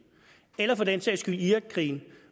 eller for den sags skyld i irakkrigen